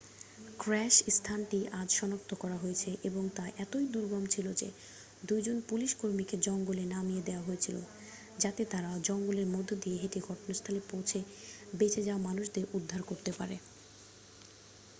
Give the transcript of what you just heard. crash স্থানটি আজ সনাক্ত করা হয়েছে এবং তা এতই দুর্গম ছিল যে 2 জন পুলিশকর্মীকে জঙ্গলে নামিয়ে দেওয়া হয়েছিল যাতে তাঁরা জঙ্গলের মধ্যে দিয়ে হেঁটে ঘটনাস্থলে পৌঁছে বেঁচে যাওয়া মানুষদের উদ্ধার করতে পারে